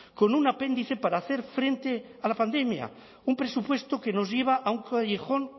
con un apéndice para hacer frente a la pandemia un presupuesto que nos lleva a un callejón